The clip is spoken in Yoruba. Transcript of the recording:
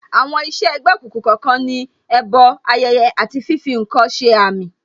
Àwọn iṣẹ́ ẹ̀gbẹ́ òkùnkùn kọ̀ọ̀kan ní, ẹbọ, ayẹyẹ, àti fífi ǹkan ṣe àmì